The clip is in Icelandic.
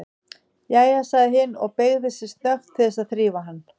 Jæja, sagði hin og beygði sig snöggt til þess að þrífa hann.